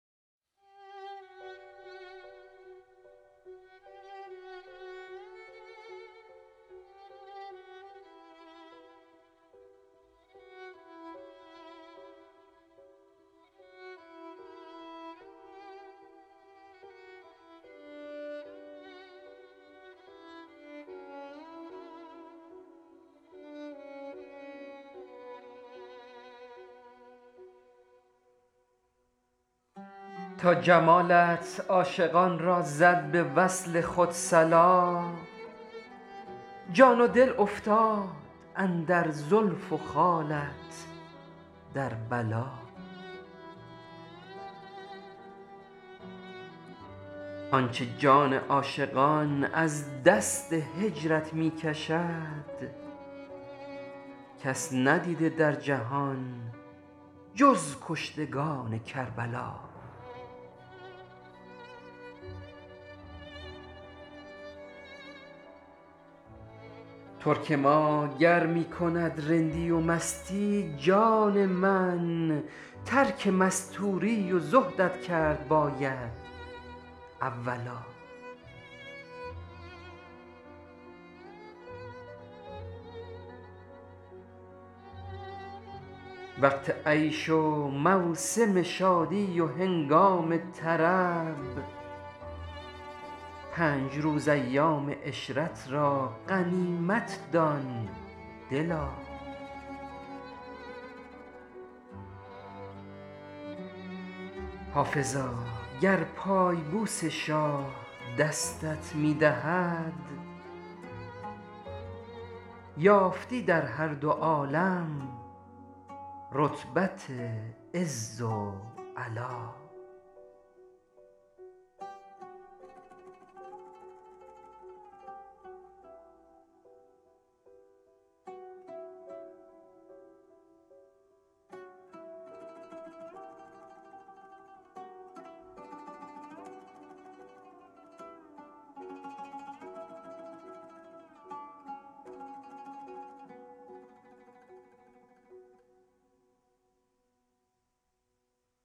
تا جمالت عاشقان را زد به وصل خود صلا جان و دل افتاده اندر زلف و خالت در بلا آنچه جان عاشقان از دست هجرت مى کشد کس ندیده در جهان جز کشتگان کربلا ترک ما گر می کند رندی و مستی جان من ترک مستوری و زهدت کرد باید اولا وقت عیش و موسم شادی و هنگام طرب پنج روز ایام عشرت را غنیمت دان دلا حافظا گر پای بوس شاه دستت می دهد یافتی در هر دو عالم رتبت عز و علا